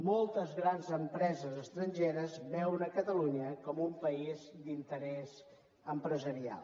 moltes grans empreses estrangeres veuen catalunya com un país d’interès empresarial